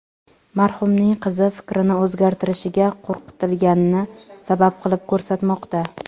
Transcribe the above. Marhumning qizi fikrini o‘zgartirishiga qo‘rqitilganini sabab qilib ko‘rsatmoqda.